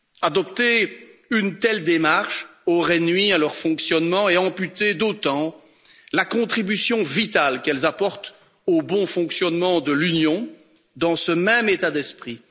Adopter une telle démarche aurait nui à leur fonctionnement et amputé d'autant la contribution vitale qu'elles apportent au bon fonctionnement de l'Union, dans ce même état d'esprit.